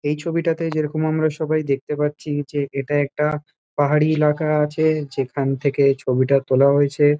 এই ছবিটাতে যেরকম আমরা সবাই দেখতে পাচ্ছি যে এটা একটা পাহাড়ি এলাকা আছে যেখান থেকে ছবিটা তোলা হয়েছে।